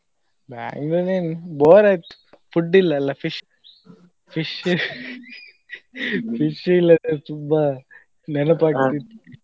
Bangalore ಏನು bore ಆಯ್ತು food ಇಲ್ಲಲ್ಲಾ fish, fish fish ಇಲ್ಲದ್ರೆ ತುಂಬಾ ನೆನಪಾಗ್ತಿತ್ತು.